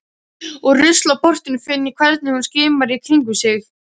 Úr ruslaportinu finn ég hvernig hún skimar í kringum sig.